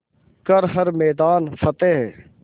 कर हर मैदान फ़तेह